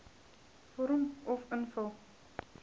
vorm uf invul